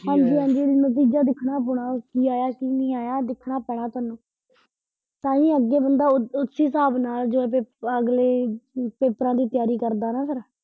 ਹਾਂਜੀ ਹਾਂਜੀ ਨਤੀਜਾ ਦੇਖਣਾ ਪੁਣਾ ਕਿ ਆਇਆ ਕੀ ਨੀ ਆਇਆ ਦਿੱਖਣਾ ਪੈਣਾ ਤੈਨੂੰ ਤਾਹੀਂ ਅੱਗੇ ਬੰਦਾ ਓ ਉਸ ਹਿਸਾਬ ਨਾਲ ਅਗਲੇ ਪੇਪਰ, ਅਗਲੇ ਪੇਪਰਾਂ ਦੀ ਤਿਆਰੀ ਕਰਦਾ ਨਾ ਫਿਰ।